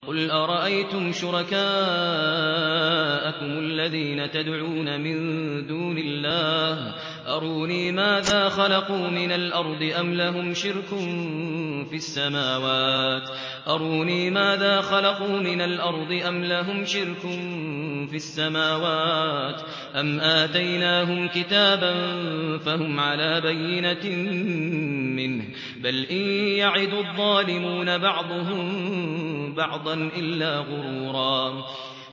قُلْ أَرَأَيْتُمْ شُرَكَاءَكُمُ الَّذِينَ تَدْعُونَ مِن دُونِ اللَّهِ أَرُونِي مَاذَا خَلَقُوا مِنَ الْأَرْضِ أَمْ لَهُمْ شِرْكٌ فِي السَّمَاوَاتِ أَمْ آتَيْنَاهُمْ كِتَابًا فَهُمْ عَلَىٰ بَيِّنَتٍ مِّنْهُ ۚ بَلْ إِن يَعِدُ الظَّالِمُونَ بَعْضُهُم بَعْضًا إِلَّا غُرُورًا